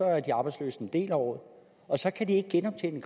er de arbejdsløse en del af året og så kan de ikke genoptjene i